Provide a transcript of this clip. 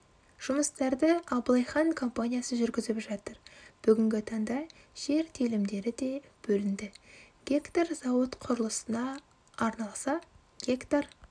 жұмыстарды абылайхан компаниясы жүргізіп жатыр бүгінгі таңда жер телімдері де бөлінді гектар зауыт құрылысына арналса гектар